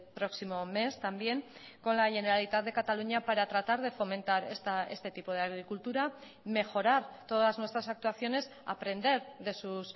próximo mes también con la generalitat de cataluña para tratar de fomentar este tipo de agricultura mejorar todas nuestras actuaciones aprender de sus